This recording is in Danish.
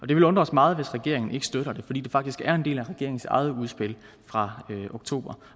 det vil undre os meget hvis regeringen ikke støtter det fordi det faktisk er en del af regeringens eget udspil fra oktober